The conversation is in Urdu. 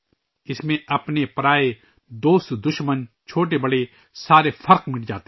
اس میں اپنے پرائے ، چھوٹے بڑے کے تمام فرق مٹ جاتے ہیں